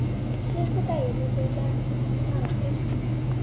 Síðasta daginn notuðu menn til þess að fara á ströndina.